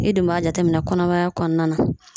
E dun b'a jateminɛ kɔnɔmaya kɔnɔna na.